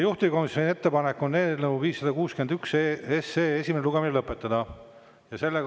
Juhtivkomisjoni ettepanek on eelnõu 561 esimene lugemine lõpetada.